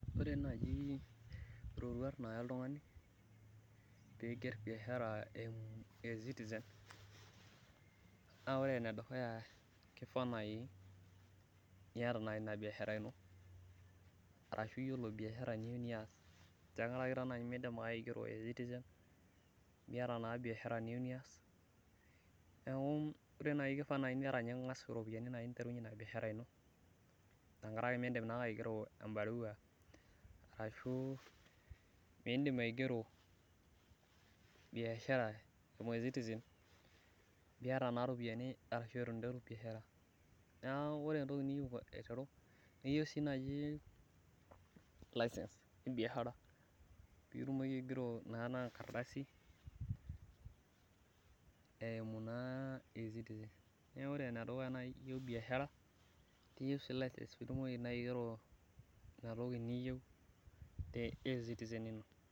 Ore naaji iroruat niidim pee iigerr biashara eimu eCitizen naa ore enedukuya naa kifaa naai pee iata ina biashar ino ashu iyiolo biashara niyieu niaas amu midimayu naa pee ingerr eCitizen miyiolo naa biashara niyieu niaas neeku ore tanakata naainiata ninye iropiyiani ning'as aiterunyie ina biashara ino tenkaraki miidm aigero embarua arashu miidim aigero eCitizen miata iropiyiani ninterunyie biashara neeku ore entoki niyieu aiteru niyieu sii naai license ebiashara pee itumoki aigero enkardasi eimu naa eCitizen neeku oreenedukuya naa iyieu biashara iyieu sii license pee itumoki aiteru ina toki naa niyieu te eCitizen ino.